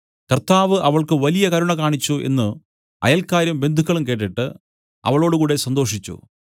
കർത്താവ് അവൾക്ക് വലിയ കരുണ കാണിച്ചു എന്നു അയൽക്കാരും ബന്ധുക്കളും കേട്ടിട്ട് അവളോടുകൂടെ സന്തോഷിച്ചു